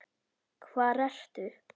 Hvar ertu?